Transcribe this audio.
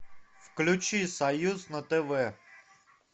включи союз на тв